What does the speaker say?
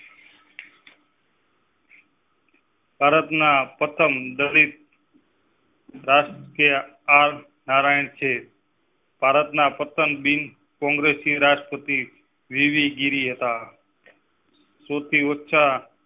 ભારતના પ્રથમ દલિત. આર નારાયણ છે. ભારતના પ્રથમ બીન કોંગ્રેસી રાષ્ટ્રપતિ વી. વી. ગીરી હતા. સુરતીઓ ચા.